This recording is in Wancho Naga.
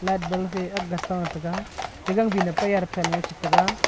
light bal fe akga ta taiga ate gangvin apei arabsanu chetaiga.